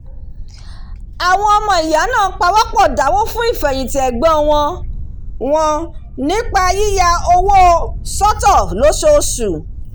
àwọn ọmọ ìyá náà pawọ́pọ̀ dáwó fún ìfẹ̀yìntì ẹ̀gbọ́n wọn wọn nípa yíya owó sọ́tọ̀ lóṣooṣù